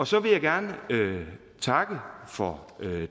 så vil jeg gerne takke for